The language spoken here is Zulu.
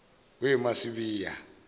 masibiya